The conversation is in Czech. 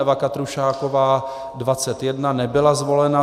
Eva Katrušáková 21, nebyla zvolena.